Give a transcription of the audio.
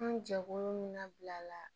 An jɛkulu min na bila la